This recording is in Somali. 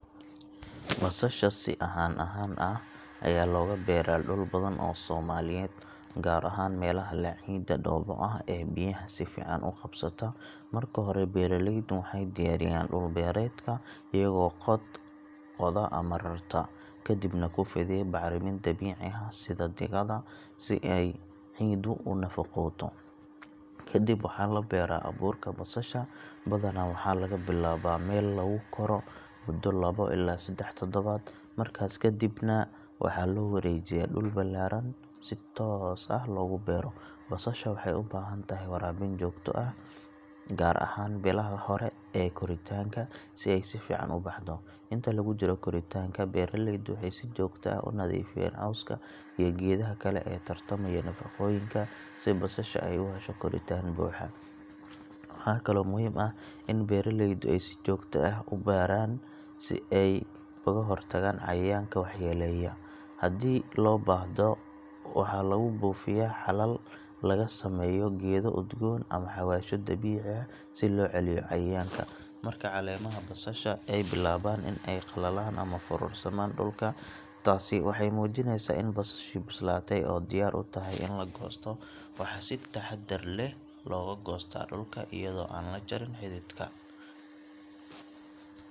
Basasha si ahaan ahaan ah ayaa looga beeraa dhul badan oo Soomaaliyeed, gaar ahaan meelaha leh ciidda dhoobo ah ee biyaha si fiican u qabsata. Marka hore beeraleydu waxay diyaariyaan dhul beereedka iyagoo qoda ama rarta, kadibna ku fidiya bacrimin dabiici ah sida digada xoolaha si ay ciiddu u nafaqooto. Ka dib waxaa la beeraa abuurka basasha, badanaa waxaa laga bilaabaa meel lagu koro muddo labo ilaa saddex toddobaad, markaas kadibna waxaa loo wareejiyaa dhul ballaaran si toos ah loogu beero. Basasha waxay u baahan tahay waraabin joogto ah gaar ahaan bilaha hore ee koritaanka si ay si fiican u baxdo. Inta lagu jiro koritaanka beeraleydu waxay si joogto ah u nadiifiyaan cawska iyo geedaha kale ee tartamaya nafaqooyinka si basasha ay u hesho koritaan buuxa. Waxaa kaloo muhiim ah in beeraleydu ay si joogto ah u baaraan si ay uga hortagaan cayayaanka waxyeeleeya. Haddii loo baahdo waxaa lagu buufiyaa xalal laga sameeyo geedo udgoon ama xawaashyo dabiici ah si loo celiyo cayayaanka. Marka caleemaha basasha ay bilaabaan in ay qallalaan ama foorarsamaan dhulka, taasi waxay muujinaysaa in basashii bislaatay oo diyaar u tahay in la goosto. Waxaa si taxaddar leh looga goostaa dhulka iyadoo aan la jarin xididka.